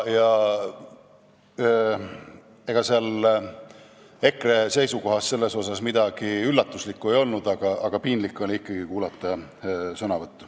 Ega EKRE seisukohas selles mõttes midagi üllatuslikku ei olnud, aga piinlik oli seda ikkagi kuulata.